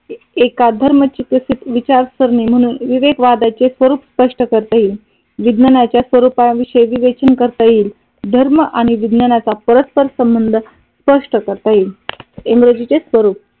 एकाच धर्माची चिकित्सेत विचारसरणी म्हणून विवेक वादाचे स्वरूप स्पष्ट करता येईल. विज्ञानाच्या स्वरूपाविषयी विवेचन करता येईल धर्म आणि विज्ञानाचा परस्पर संबंध स्पष्ट करता येईल. इंग्रजीचे स्वरूप